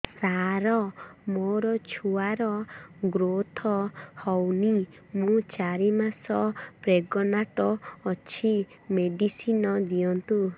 ସାର ମୋର ଛୁଆ ର ଗ୍ରୋଥ ହଉନି ମୁ ଚାରି ମାସ ପ୍ରେଗନାଂଟ ଅଛି ମେଡିସିନ ଦିଅନ୍ତୁ